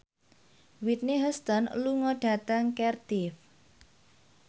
Whitney Houston lunga dhateng Cardiff